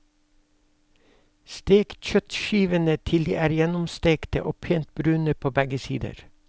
Stek kjøttskivene til de er gjennomstekte og pent brune på begge sider.